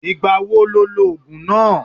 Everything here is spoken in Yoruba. Ìgbà wo lo lo ògùn náà?